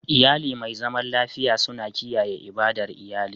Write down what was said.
Iyali mai zaman lafiya suna kiyaye ibadar iyali.